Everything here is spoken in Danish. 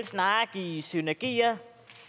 snarere give synergier